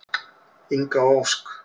Inga og Ósk.